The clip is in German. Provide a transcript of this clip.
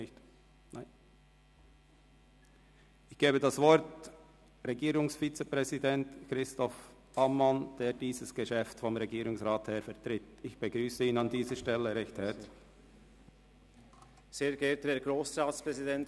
–Ich gebe das Wort Regierungsvizepräsident Christoph Ammann, der dieses Geschäft vonseiten des Regierungsrats vertritt, und begrüsse ihn an dieser Stelle herzlich.